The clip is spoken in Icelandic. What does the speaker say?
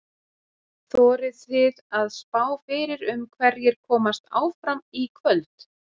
Þorið þið að spá fyrir um hverjir komast áfram í kvöld?